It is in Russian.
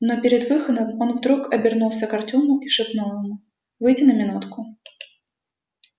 но перед выходом он вдруг обернулся к артёму и шепнул ему выйди на минутку